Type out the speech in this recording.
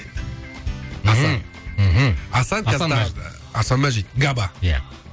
асан мәжит габа иә